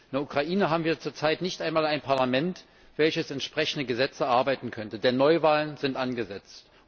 In der Ukraine haben wir zurzeit nicht einmal ein Parlament, welches entsprechende Gesetze erarbeiten könnte, denn Neuwahlen sind angesetzt.